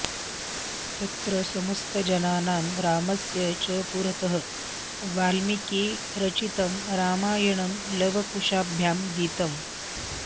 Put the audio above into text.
तत्र समस्तजनानां रामस्य च पुरतः वाल्मीकिरचितं रामायणं लवकुशाभ्यां गीतम्